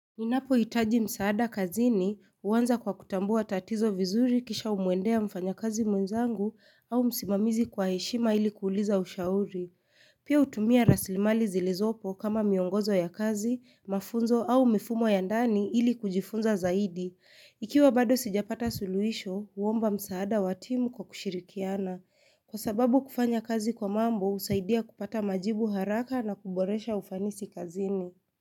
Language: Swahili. Mimi ninapo hitaji msaada kazini huanza kwa kutambua tatizo vizuri kisha humwendea mfanya kazi mwenzangu au msimamizi kwa heshima ili kuuliza ushauri. Pia hutumia raslimali zilizopo kama miongozo ya kazi, mafunzo au mifumo ya ndani ili kujifunza zaidi. Ikiwa bado sijapata suluhisho, huomba msaada wa timu kwa kushirikiana. Kwa sababu kufanya kazi kwa mambo husaidia kupata majibu haraka na kuboresha ufanisi kazini.